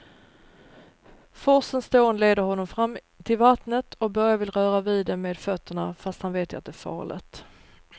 Forsens dån leder honom fram till vattnet och Börje vill röra vid det med fötterna, fast han vet att det är farligt.